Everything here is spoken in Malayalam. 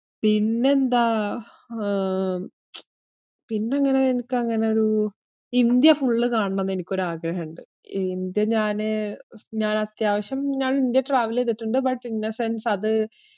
പിന്നെന്താ ഏർ പിന്നങ്ങനെ എനിക്കങ്ങനെ ഒരു ഇന്ത്യ full കാണണംന്ന് എനിക്കൊരു ആഗ്രഹം ഇണ്ട്. ഇന്ത്യ ഞാന് ഞാൻ അത്യാവശ്യം ഞാൻ ഇന്ത്യ travel എയ്തിട്ടിണ്ട് but in a sense അത്